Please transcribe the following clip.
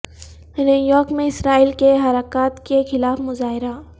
new York میں اسرائیل کی حرکات کے خلاف مظاہرہ